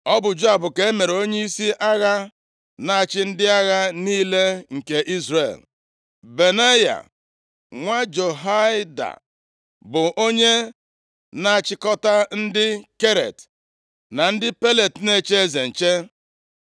Ọ bụ Joab ka e mere onyeisi agha na-achị ndị agha niile nke Izrel. Benaya nwa Jehoiada bụ onye na-achịkọta ndị Keret na ndị Pelet na-eche eze nche.